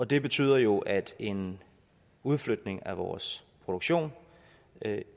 det betyder jo at en udflytning af vores produktion